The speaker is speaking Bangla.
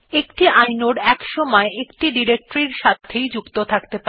একটি ইনোড একসময় একটি ডিরেকটরি এর সাথে যুক্ত থাকে